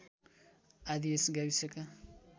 आदि यस गाविसका